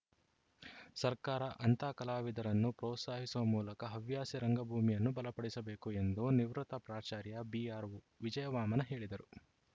ಸರ್ಕಾರ ಅಂಥ ಕಲಾವಿದರನ್ನು ಪ್ರೋತ್ಸಾಹಿಸುವ ಮೂಲಕ ಹವ್ಯಾಸಿ ರಂಗಭೂಮಿಯನ್ನು ಬಲಪಡಿಸಬೇಕು ಎಂದು ನಿವೃತ್ತ ಪ್ರಾಚಾರ‍್ಯ ಬಿಆರ್‌ವಿಜಯವಾಮನ ಹೇಳಿದರು